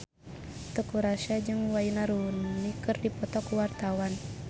Teuku Rassya jeung Wayne Rooney keur dipoto ku wartawan